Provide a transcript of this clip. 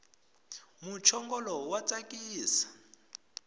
muchongolo wa tsakisa